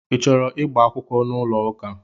I chọrọ ịgba akwụkwọ n'ụlọ ụka?